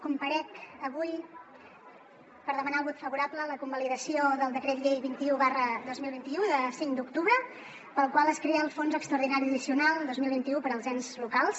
comparec avui per demanar el vot favorable a la convalidació del decret llei vint un dos mil vint u de cinc d’octubre pel qual es crea el fons extraordinari addicional dos mil vint u per als ens locals